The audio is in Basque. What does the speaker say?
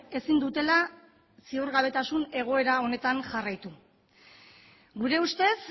ezin dutela ziurgabetasun egoera honetan jarraitu gure ustez